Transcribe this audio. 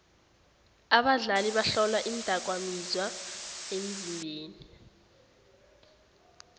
abadlali bahlolwa iindakamizwa emzimbeni